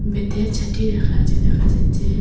বেতের চাটি রাখা আছে দেখা যাচ্ছে।